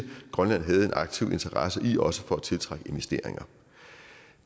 grønland havde en aktiv interesse i også til at tiltrække investeringer